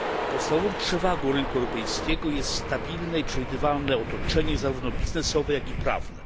Podstawową przewagą rynku europejskiego jest stabilne i przewidywalne otoczenie zarówno biznesowe, jak i prawne.